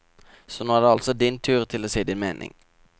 Så nå er det altså din tur til å si din mening.